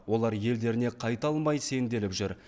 олар елдеріне қайта алмай сенделіп жүр